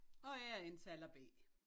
Og jeg er indtaler B